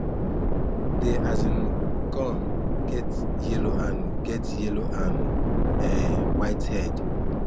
dey um corn get yellow and get yellow and um white head